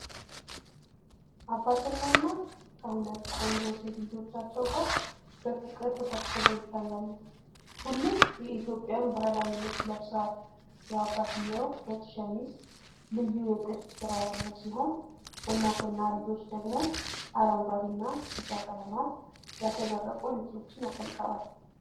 አባትና እናት ከሁለት ቆንጆ ሴት ልጆቻቸው ጋር በፍቅር ተሰብስበው ይታያሉ። ሁሉም የኢትዮጵያን ባህላዊ ልብስ ለብሰዋል። የአባትየው ነጭ ሸሚዝ ልዩ የጥልፍ ስራ ያለው ሲሆን፣ እናትና ልጆች ደግሞ አረንጓዴና ቢጫ ቀለማት ያሸበረቁ ልብሶችን አጥልቀዋል።